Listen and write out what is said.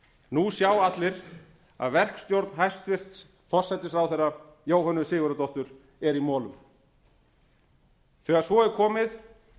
nú sjá allir að verkstjórn hæstvirtur forsætisráðherra jóhönnu sigurðardóttur er í molum þegar svo er komið